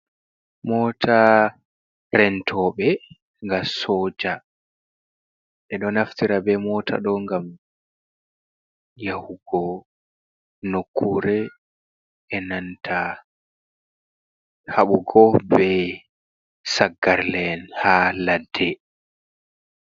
Mota rentoɓe ga soja ɓe ɗo naftira be mota ɗo gam yahugo nokkure e nanta haɓugo be saggarle en ha ladde.